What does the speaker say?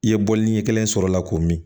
I ye bɔli ɲɛ kelen sɔrɔ o la k'o min